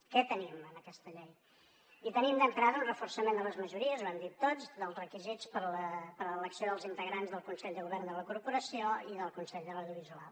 què tenim en aquesta llei hi tenim d’entrada un reforçament de les majories ho hem dit tots dels requisits per a l’elecció dels integrants del consell de govern de la corporació i del consell de l’audiovisual